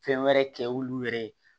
Fɛn wɛrɛ kɛ olu yɛrɛ ye